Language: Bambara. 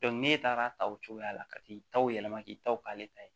n'e taara ta o cogoya la ka t'i taw yɛlɛma k'i ta k' ale ta ye